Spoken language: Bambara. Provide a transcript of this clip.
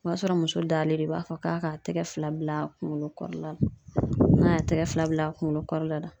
O y'a sɔrɔ muso dalen don , u b'a fɔ k'a k'a tɛgɛ fila bila a kunkolo kɔrɔla la, n'a y'a tɛgɛ fila bila a kunkolo kɔrɔ la